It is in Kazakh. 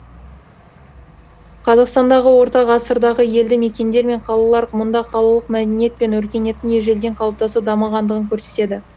қазақстандағы орта ғасырдағы елді мекендер мен қалалар мұнда қалалық мәдениет пен өркениеттің ежелден қалыптасып дамығандығын көрсетеді